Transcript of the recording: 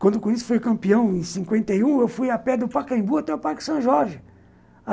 Quando o Corinthians foi campeão, em cinquenta e um, eu fui a pé do Pacaembu até o Parque São Jorge.